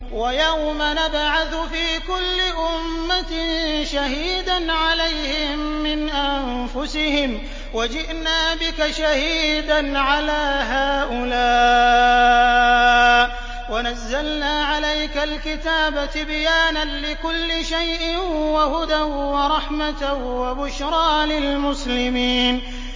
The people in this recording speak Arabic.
وَيَوْمَ نَبْعَثُ فِي كُلِّ أُمَّةٍ شَهِيدًا عَلَيْهِم مِّنْ أَنفُسِهِمْ ۖ وَجِئْنَا بِكَ شَهِيدًا عَلَىٰ هَٰؤُلَاءِ ۚ وَنَزَّلْنَا عَلَيْكَ الْكِتَابَ تِبْيَانًا لِّكُلِّ شَيْءٍ وَهُدًى وَرَحْمَةً وَبُشْرَىٰ لِلْمُسْلِمِينَ